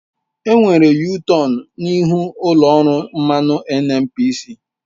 Enwere yutọonu n'ihu ụlọ ọrụ mmanụ NNPC.